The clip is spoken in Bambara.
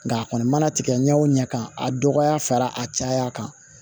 Nka a kɔni mana tigɛ ɲɛ o ɲɛ kan a dɔgɔya fara a caya kan